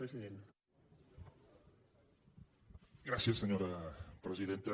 gràcies senyora presidenta